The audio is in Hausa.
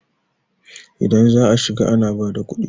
idan za a shiga ana bada kudi?